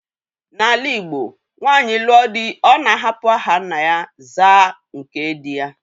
N'ala igbo nwanyị lụọ dị́, Ọ̀ na-ahapụ aha nna ya zaa nke dị ya.